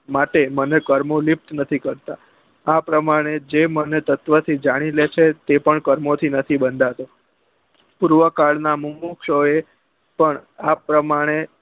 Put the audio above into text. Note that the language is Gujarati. માટે મને કર્મો ની નથી કરતા આ પ્રમાણે મને તત્વો થી જાની લે છે તે પણ કર્મો થી નથી બંધાતો પૂર્વ કાલ નાં મુમુક્ષો એ પણ આ પ્રમાણે